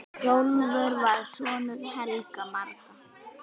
Hrólfur var sonur Helga magra.